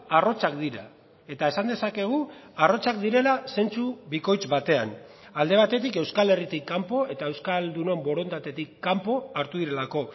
arrotzak dira eta esan dezakegu arrotzak direla zentzu bikoitz batean alde batetik euskal herritik kanpo eta euskaldunon borondatetik kanpo hartu direlako